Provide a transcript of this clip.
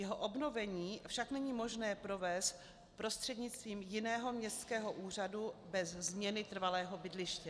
Jeho obnovení však není možné provést prostřednictvím jiného městského úřadu bez změny trvalého bydliště.